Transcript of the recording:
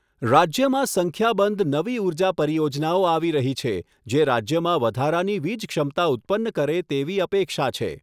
રાજ્યમાં સંખ્યાબંધ નવી ઉર્જા પરિયોજનાઓ આવી રહી છે જે રાજ્યમાં વધારાની વીજ ક્ષમતા ઉત્પન્ન કરે તેવી અપેક્ષા છે.